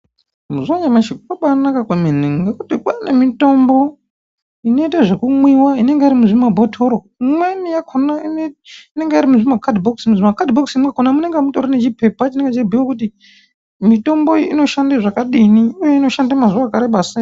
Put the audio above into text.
Mazuwa anyamashi kwabanaka kwemene ngokuti kwane mitombo inoita zvekumwiwa inenge iri muzvimabhotoro imweni yakona inenge iri muzvimakadhibhokisi, muzvimakadhibhokisi mwakona munenge mutori nechipepa chinenge cheibhuye kuti mitombo iyi inoshanda zvakadini uye inoshanda mazuwa akareba sei.